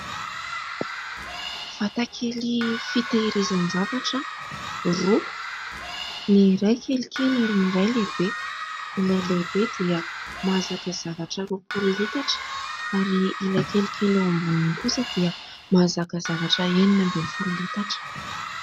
Vatakely fiteherizan-javatra roa, ny iray kelikely ary ny iray lehibe. Ilay lehibe dia mahazaka zavatra roapolo litatra ary ilay kelikely eo amboniny kosa dia mahazaka zavatra enina ambin'ny folo litatra.